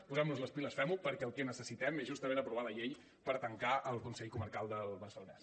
posem nos les piles fem ho perquè el que necessitem és justament aprovar la llei per tancar el consell comarcal del barcelonès